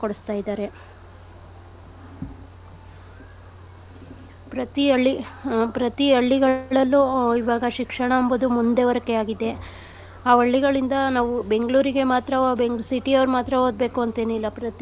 ಕೊಡ್ಸ್ತಾ ಇದಾರೆ . ಪ್ರತಿ ಹಳ್ಳಿ ಆ ಪ್ರತಿ ಹಳ್ಳಿಗಳಲ್ಲೂ ಆ ಇವಾಗ ಶಿಕ್ಷಣ ಎಂಬುದು ಮುಂದುವರಿಕೆ ಆಗಿದೆ. ಆ ಹಳ್ಳಿಗಳಿಂದ ನಾವು Bangalore ಗೆ ಮಾತ್ರ city ಅವ್ರ್ ಮಾತ್ರ ಓದ್ಬೇಕು ಅಂತ್ ಏನಿಲ್ಲ ಪ್ರತಿ.